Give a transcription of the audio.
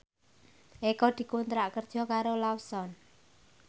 Eko dikontrak kerja karo Lawson